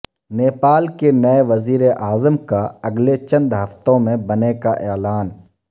نیپال کے نئے وزیر اعظم کا اگلے چند ہفتوں میں بنے کا اعلان